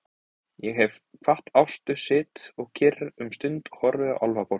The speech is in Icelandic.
Þegar ég hef kvatt Ástu sit ég kyrr um stund og horfi á Álfaborgina.